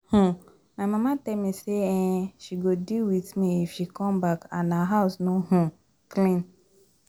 um My mama tell me say um she go deal with me if she come back and her house no um clean